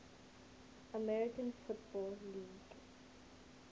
american football league